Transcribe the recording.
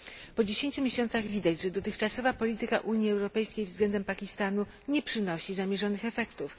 Po 10 miesiącach widać, że dotychczasowa polityka Unii Europejskiej względem Pakistanu nie przynosi zamierzonych efektów.